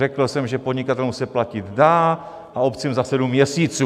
Řekl jsem, že podnikatelům se platit dá, a obcím, za sedm měsíců.